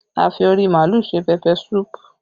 A fi ori màálù ṣe pẹpẹ súpù